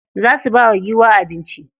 Za su ba wa giwa abinci.